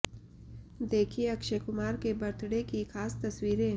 देखिये अक्षय कुमार के बर्थडे की ख़ास तस्वीरें